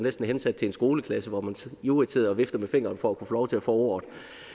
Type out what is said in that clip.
hensat til en skoleklasse hvor man ivrigt sidder og vifter med fingeren for at kunne få lov til at få ordet